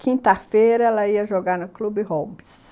Quinta-feira, ela ia jogar no Clube Holmes.